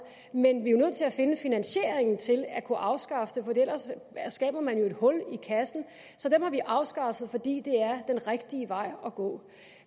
men vi er jo nødt til at finde finansieringen til at kunne afskaffe dem for ellers skaber man et hul i kassen så dem har vi afskaffet fordi det er den rigtige vej at gå